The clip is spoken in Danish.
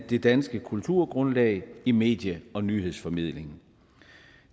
det danske kulturgrundlag i medie og nyhedsformidlingen